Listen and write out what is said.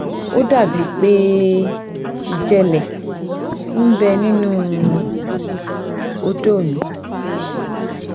ó dà bíi pé ìjẹ́lẹ̀ ń bẹ nínú ọ̀dọ́ mi